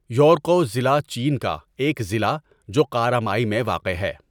یورقؤ ضلع چین کا ایک ضلع جو قارامای میں واقع ہے.